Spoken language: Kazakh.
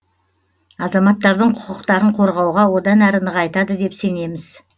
азаматтардың құқықтарын қорғауға одан әрі нығайтады деп сенеміз